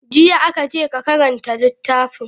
Jiya aka ce ka karanta littafin.